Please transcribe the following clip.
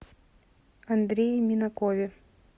андрее минакове